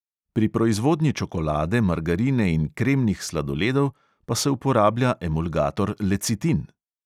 Pri proizvodnji čokolade, margarine in kremnih sladoledov pa se uporablja emulgator lecitin.